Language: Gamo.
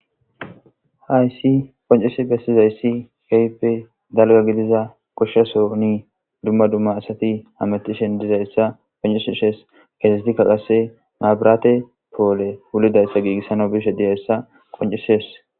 hayssi qoncese bessizayssi keyppe dalga gidiza goshshaso ni dumma dumma asati hametishin dizayssa poncisishes keesetikka qase maabiraate poole wulidayssa giigissana bishe diyayssa qoncises